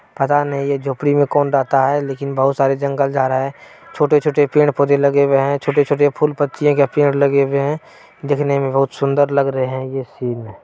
पता नहीं ये झोपड़ी में कौन रहता है लेकिन बहुत सारे जंगल झार है। छोटे-छोटे पेड़-पौधे लगे हुए हैं। छोटे-छोटे फूल पत्तियां या पेड़ लगे हुए हैं। दिखने में बहुत सुन्दर लग रहें हैं ये सिन ।